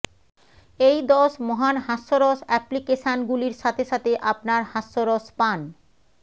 এই দশ মহান হাস্যরস অ্যাপ্লিকেশানগুলির সাথে সাথে আপনার হাস্যরস পান